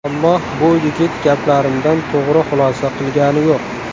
Ammo bu yigit gaplarimdan to‘g‘ri xulosa qilgani yo‘q.